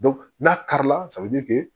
n'a kari la